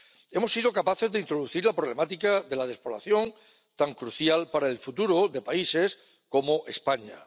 Hemos sido capaces de introducir la problemática de la despoblación, tan crucial para el futuro de países como España.